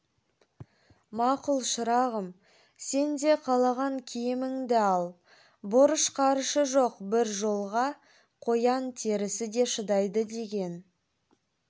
мақұл шырағым сен де қалаған киіміңді ал борыш-қарышы жоқ бір жолға қоян терісі де шыдайды деген